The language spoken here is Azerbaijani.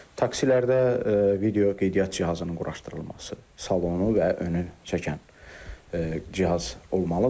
Takslərdə video qeydiyyatçı cihazının quraşdırılması, salonu və önü çəkən cihaz olmalıdır.